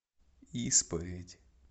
исповедь